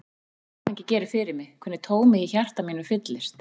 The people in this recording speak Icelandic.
Ég fann hvað áfengi gerir fyrir mig, hvernig tómið í hjarta mínu fyllist.